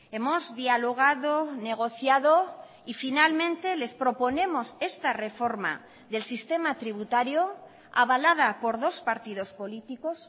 hemos dialogado negociado y finalmente les proponemos esta reforma del sistema tributario avalada por dos partidos políticos